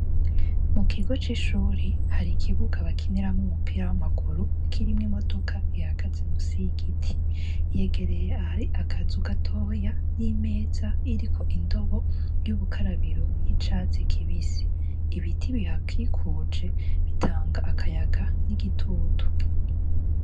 Mu kigo c'ishuri hari ikibuga bakineramwo umupira w'amaguru kirimwo imodoka ihagaze mu si ygiti yegereye ari akaza ugatoya n'imeza iriko indobo y'ubukarabiro y'icazi kibisi ibiti bihakikuje bitanga akayaga n'igitutu.